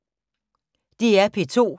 DR P2